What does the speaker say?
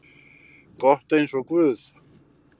gott eins og guð.